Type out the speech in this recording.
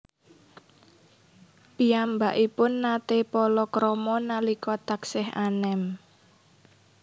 Piyambakipun naté palakrama nalika taksih anem